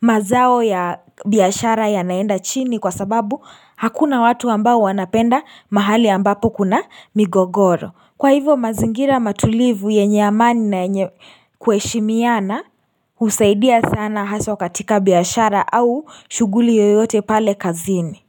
mazao ya biyashara ya naenda chini kwa sababu hakuna watu ambao wanapenda mahali ambapo kuna migogoro Kwa hivo mazingira matulivu yenye amani na yenye kuheshimiana usaidia sana haswa katika biashara au shughuli yoyote pale kazini.